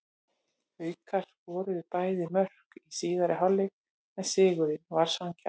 Haukar skoruðu tvö mörk í síðari hálfleik en sigurinn var sanngjarn.